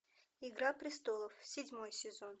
игра престолов седьмой сезон